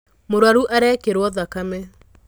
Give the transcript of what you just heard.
Mũrwaru arekĩrwo thakame.